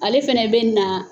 Ale fɛnɛ bɛna